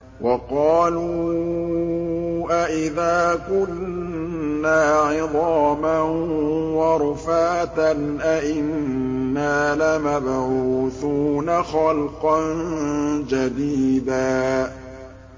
وَقَالُوا أَإِذَا كُنَّا عِظَامًا وَرُفَاتًا أَإِنَّا لَمَبْعُوثُونَ خَلْقًا جَدِيدًا